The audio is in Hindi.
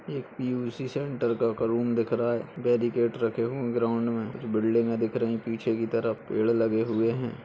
एक पी_यू_सी सेंटर का रूम दिख रहा है। बेड़ीगेट रखे हुए है ग्राउंड मे बिल्डिंग गे दिख रहे है। पीछे की तरफ पेड़ लगे हुए है।